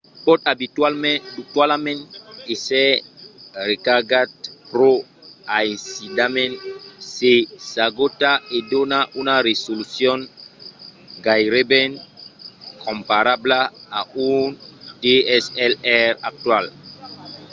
pòt abitualament èsser recargat pro aisidament se s'agota e dona una resolucion gaireben comparabla a un dslr actual